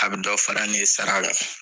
A bɛ dɔ fara ne sara la.